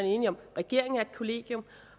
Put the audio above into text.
regeringen er et kollegium